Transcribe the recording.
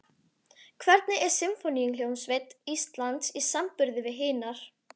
Hvernig er Sinfóníuhljómsveit Íslands í samanburði við hinar?